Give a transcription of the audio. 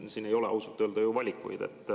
Siin ei ole ausalt öelda ju valikuid.